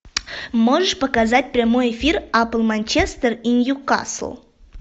можешь показать прямой эфир апл манчестер и ньюкасл